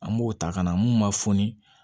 An b'o ta ka na mun ma foni